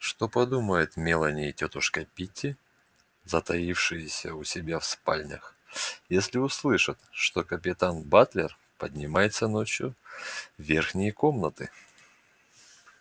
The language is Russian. что подумают мелани и тётушка питти затаившиеся у себя в спальнях если услышат что капитан батлер поднимается ночью в верхние комнаты